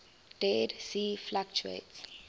dead sea fluctuates